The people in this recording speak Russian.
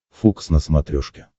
фокс на смотрешке